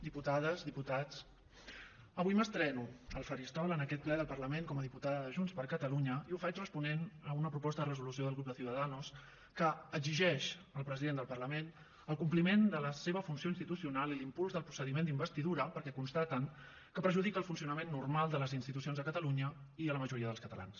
diputades diputats avui m’estreno al faristol en aquest ple del parlament com a diputada de junts per catalunya i ho faig responent a una proposta de resolució del grup de ciudadanos que exigeix al president del parlament el compliment de la seva funció institucional i l’impuls del procediment d’investidura perquè constaten que perjudica el funcionament normal de les institucions a catalunya i a la majoria dels catalans